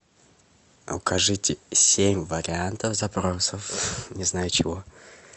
укажите семь вариантов запросов не знаю чего